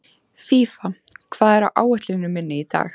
Fífa, hvað er á áætluninni minni í dag?